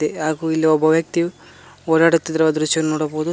ಹಾಗೂ ಇಲ್ಲಿ ಒಬ್ಬ ವ್ಯಕ್ತಿಯು ಓಡಾಡುತ್ತಿರುವ ದೃಶ್ಯವನ್ನು ನೋಡಬಹುದು.